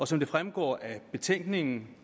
som det fremgår af betænkningen